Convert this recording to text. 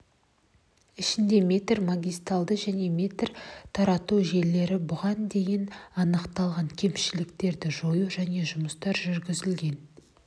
ішінде метрі магистарльды және метрі тарату желілері бұған дейін анықталған кемшіліктерді жою және жұмыстар жүргізілген